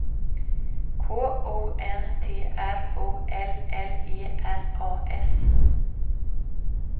K O N T R O L L E R A S